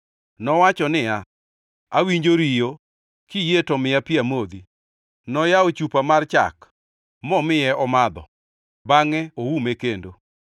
Nowacho niya, “Awinjo riyo. Kiyie to miya pi amodhi.” Noyawo chupa mar chak, momiye omadho, bangʼe oume kendo.